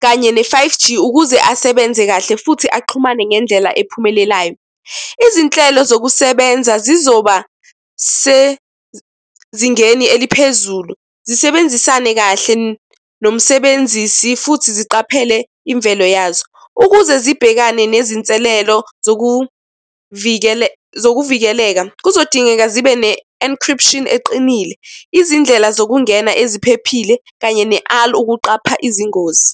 kanye ne-five G, ukuze asebenze kahle futhi axhumane ngendlela ephumelelayo. Izinhlelo zokusebenza zizoba sezingeni eliphezulu. Zisebenzisane kahle nomsebenzisi futhi ziqaphele imvelo yazo, ukuze zibhekane nezinselelo zokuvikeleka. Kuzodingeka zibe ne-encryption eqinile, izindlela zokungena eziphephile, kanye ukuqapha izingozi.